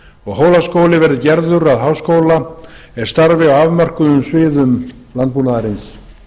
og hólaskóli verði gerður að háskóla er starfi á afmörkuðum sviðum landbúnaðarins